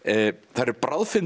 þær eru